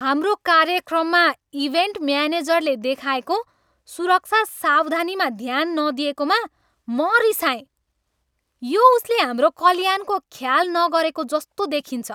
हाम्रो कार्यक्रममा इभेन्ट म्यानेजरले देखाएको सुरक्षा सावधानीमा ध्यान नदिएकोमा म रिसाएँ। यो उसले हाम्रो कल्याणको ख्याल नगरेको जस्तो देखिन्छ!